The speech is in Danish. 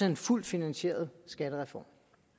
en fuldt finansieret skattereform